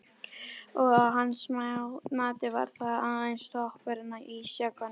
Og að hans mati var það aðeins toppurinn á ísjakanum.